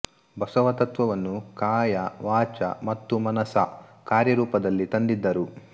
ಬಸವ ತತ್ವವನ್ನು ಕಾಯಾ ವಾಚಾ ಮತ್ತು ಮನಸಾ ಕಾರ್ಯ ರೂಪದಲ್ಲಿ ತಂದಿದ್ದರು